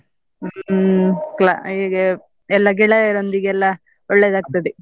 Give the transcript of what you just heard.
ಹ್ಮ್ cla~ ಇಗೆ ಎಲ್ಲಾ ಗೆಳೆಯರೊಂದಿಗೆಲ್ಲಾ ಒಳ್ಳೇದಾಗ್ತದೆ.